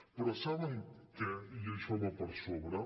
però saben què i això va per sobre